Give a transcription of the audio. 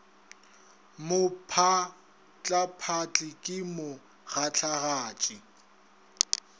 mo pšhatlapšhatle ke mo gatlagantšhe